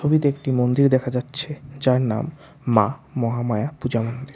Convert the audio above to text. ছবিতে একটি মন্দির দেখা যাচ্ছে যার নাম মা মহামায়া পূজা মন্দির।